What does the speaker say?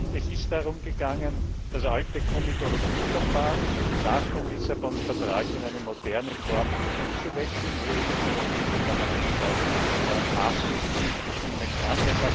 II. Es ist darum gegangen, das alte Komitologieverfahren nach dem Lissabon Vertrag in eine moderne Form umzuwandeln, wo das Europäische Parlament auch maßgeblich mitbestimmen kann.